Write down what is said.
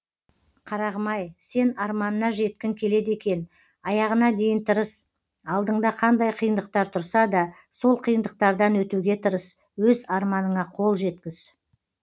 қарағым ай сен арманына жеткін келеді екен аяғына дейін тырыс алдында қандай қиындықтар тұрса да сол қиындықтардан өтуге тырыс өз арманына қол жеткіз